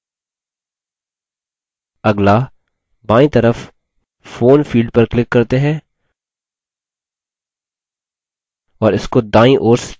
अगला बायीं तरफ phone field पर click करते हैं और इसको दायीं ओर स्थानांतरित करते हैं